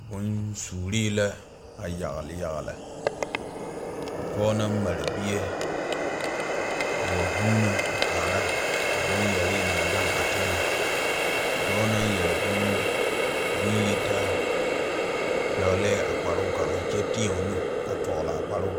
Boŋsuuri la a yagle yagle ka pɔge naŋ mare bie a wa vuuno a kaara a boŋyɛri naŋ gaŋ a teŋɛ dɔɔ naŋ yɛre boŋyitaa pɛglɛɛ a kparoo kaŋa kyɛ teɛ o nu a dɔgle a kparoo kaŋ.